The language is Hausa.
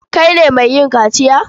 Kai ne mai yin kaciya?